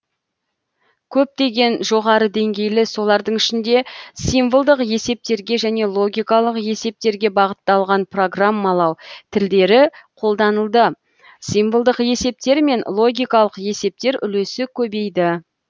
көптеген жоғары деңгейлі солардың ішінде символдық есептерге және логикалық есептерге бағытталған программалау тілдері қолданылды символдық есептер мен логикалық есептер үлесі көбейді